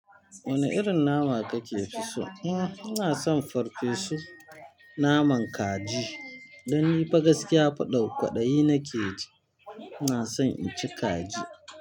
Wane irin nama kake fi so? Hmm, ina son farfesu naman kaji. Dan ni fa gaskiya fa ɗau kwaɗayi nake ji. Ina son inci kaji.